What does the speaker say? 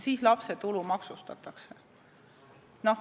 Siis lapse tulu maksustatakse.